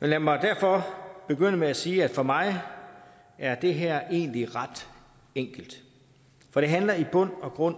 lad mig derfor begynde med at sige at for mig er det her egentlig ret enkelt for det handler i bund og grund